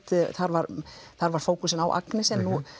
þar var þar var fókusinn á Agnesi